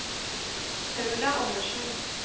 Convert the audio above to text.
Paula Anderssen